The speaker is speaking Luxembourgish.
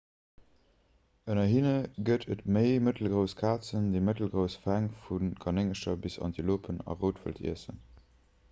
ënner hinne gëtt et méi mëttelgrouss kazen déi mëttelgrouss fäng vu kanéngercher bis antilopen a routwëld iessen